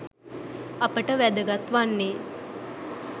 අපට වැදගත් වන්නේ